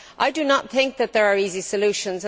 I do not think that there are easy solutions.